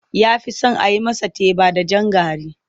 Ya fi son a yi masa teba da jan gari.